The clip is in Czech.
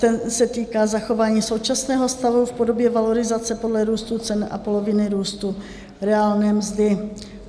Ten se týká zachování současného stavu v podobě valorizace podle růstu cen a poloviny růstu reálné mzdy.